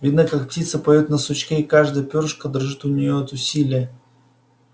видно как птица поёт на сучке и каждое пёрышко дрожит у неё от усилия